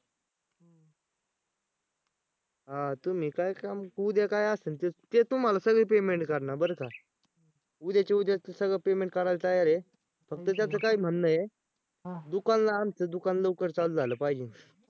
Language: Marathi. अं तुम्ही काय काम उद्या काय असन ते ते तुम्हाला सगळं payment करणार बरं का उद्याच्या उद्या सगळं payment करायला तयार आहे. फक्त त्याचं काय म्हणणं आहे दुकान आमचं दुकान लवकर चालू झालं पाहिजे.